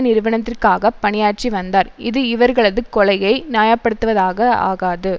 நிறுவனத்திற்காக பணியாற்றி வந்தார் இது இவர்களது கொலையை நியாயப்படுத்துவதாக ஆகாது